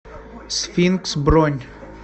сфинкс бронь